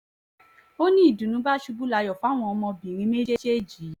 o ní ìdùnnú bá ṣubú layọ̀ fún àwọn ọmọbìnrin méjèèjì yìí